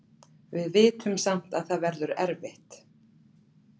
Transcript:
Við vitum samt að það verður erfitt.